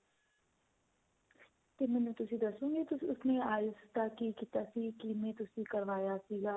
ਤੇ ਮੈਨੂੰ ਤੁਸੀਂ ਦੱਸੋਂਗੇ ਤੁਸੀਂ IELTS ਦਾ ਕੀ ਕੀਤਾ ਸੀ ਕਿਵੇਂ ਤੁਸੀਂ ਕਰਵਾਇਆ ਸੀਗਾ.